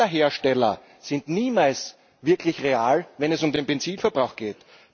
Angaben aller Hersteller sind niemals wirklich real, wenn es um den Benzinverbrauch geht.